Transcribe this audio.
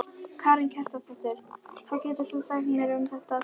Karen Kjartansdóttir: Hvað getur þú sagt mér um þetta svæði?